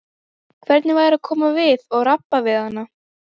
Hvernig væri að koma við og rabba við hana?